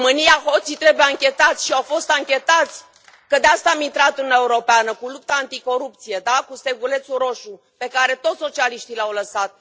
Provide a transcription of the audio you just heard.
În România, hoții trebuie anchetați și au fost anchetați, că de aceea am intrat în Uniunea Europeană cu lupta anticorupție, cu stegulețul roșu, pe care tot socialiștii l au lăsat.